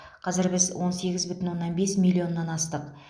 қазір біз он сегіз бүтін оннан бес миллионнан астық